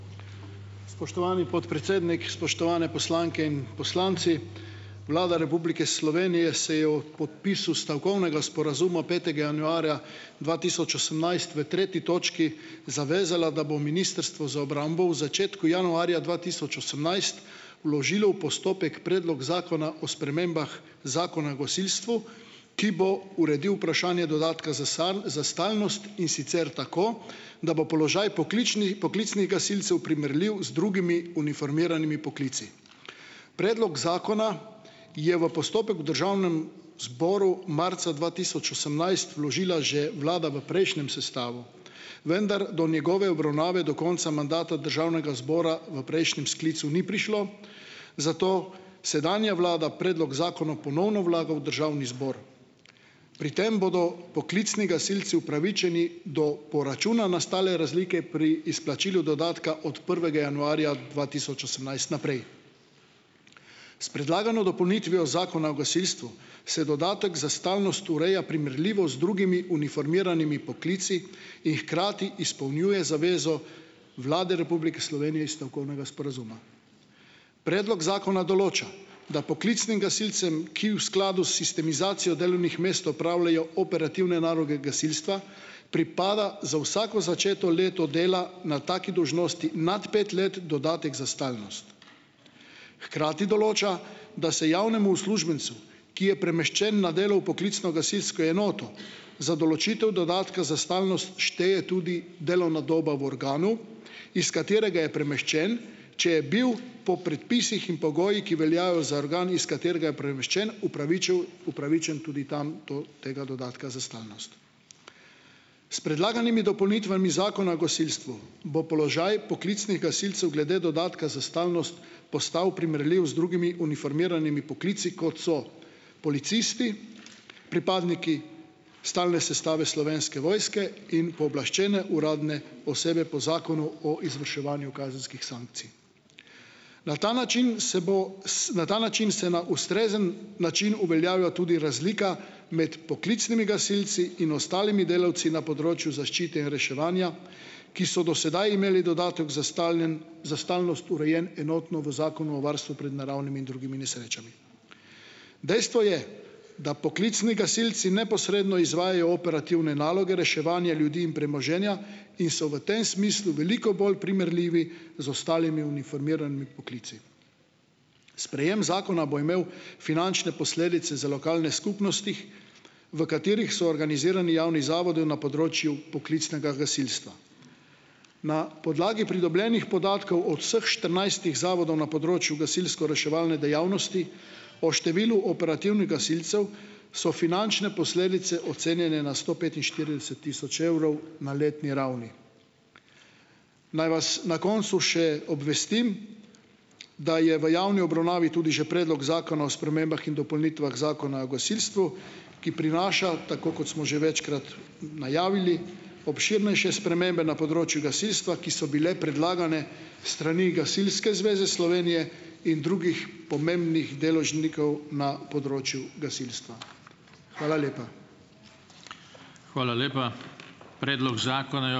Spoštovani podpredsednik, spoštovane poslanke in poslanci! Vlada Republike Slovenije se je ob podpisu stavkovnega sporazuma petega januarja dva tisoč osemnajst v tretji točki zavezala, da bo Ministrstvo za obrambo v začetku januarja dva tisoč osemnajst vložilo v postopek Predlog zakona o spremembah Zakona o gasilstvu, ki bo uredil vprašanje dodatka za stalnost, in sicer tako, da bo položaj pokličnih poklicnih gasilcev primerljiv z drugimi uniformiranimi poklici. Predlog zakona je v postopek v državnem zboru marca dva tisoč osemnajst vložila že vlada v prejšnjem sestavu, vendar do njegove obravnave do konca mandata državnega zbora v prejšnjem sklicu ni prišlo, zato sedanja vlada predlog zakona ponovno vlaga v državni zbor. Pri tem bodo poklicni gasilci upravičeni do poračuna nastale razlike pri izplačilu dodatka od prvega januarja dva tisoč osemnajst naprej. S predlagano dopolnitvijo Zakona o gasilstvu se dodatek za stalnost ureja primerljivo z drugimi uniformiranimi poklici in hkrati izpolnjuje zavezo Vlade Republike Slovenije iz stavkovnega sporazuma. Predlog zakona določa, da poklicnim gasilcem, ki v skladu s sistemizacijo delovnih mest opravljajo operativne naloge gasilstva, pripada za vsako začeto leto dela na taki dolžnosti nad pet let dodatek za stalnost. Hkrati določa, da se javnemu uslužbencu, ki je premeščen na delo v poklicno gasilsko enoto, za določitev dodatka za stalnost šteje tudi delovna doba v organu, iz katerega je premeščen, če je bil po predpisih in pogojih, ki veljajo za organ, iz katerega je premeščen, upravičen tudi tam do tega dodatka za stalnost. S predlaganimi dopolnitvami Zakona o gasilstvu bo položaj poklicnih gasilcev glede dodatka za stalnost postavi primerljiv z drugimi uniformiranimi poklici, kot so policisti, pripadniki stalne sestave Slovenske vojske in pooblaščene uradne osebe po Zakonu o izvrševanju kazenskih sankcij. Na ta način se bo na ta način se na ustrezen način uveljavi tudi razlika med poklicnimi gasilci in ostalimi delavci na področju zaščite in reševanja, ki so do sedaj imeli dodatek za stalnost urejen enotno v Zakonu o varstvu pred naravnimi in drugimi nesrečami. Dejstvo je, da poklicni gasilci neposredno izvajajo operativne naloge reševanja ljudi in premoženja in so v tem smislu veliko bolj primerljivi z ostalimi uniformiranimi poklici. Sprejem zakona bo imel finančne posledice za lokalne skupnosti, v katerih so organizirani javni zavodi na področju poklicnega gasilstva. Na podlagi pridobljenih podatkov od vseh štirinajstih zavodov na področju gasilsko-reševalne dejavnosti o številu operativnih gasilcev so finančne posledice ocenjene na sto petinštirideset tisoč evrov na letni ravni. Naj vas na koncu še obvestim, da je v javni obravnavi tudi že predlog zakona o spremembah in dopolnitvah Zakona o gasilstvu, ki prinaša, tako kot smo že večkrat najavili, obširnejše spremembe na področju gasilstva, ki so bile predlagane s strani Gasilske zveze Slovenije in drugih pomembnih deležnikov na področju gasilstva. Hvala lepa.